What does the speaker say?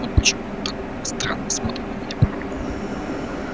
вот почему он так странно смотрит на меня порой